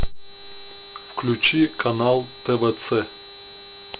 включи канал твц